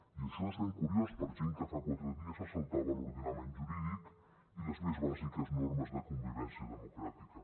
i això és ben curiós per gent que fa quatre dies se saltava l’ordenament jurídic i les més bàsiques normes de convivència democràtica